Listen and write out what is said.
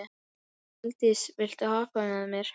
Koldís, viltu hoppa með mér?